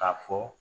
K'a fɔ